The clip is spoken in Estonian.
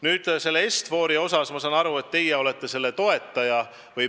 Nüüd, Est-Fori puhul ma saan aru, et teie olete selle toetaja.